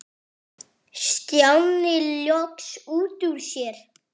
Stjáni loks út úr sér.